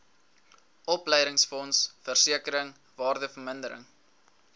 opleidingsfonds versekering waardevermindering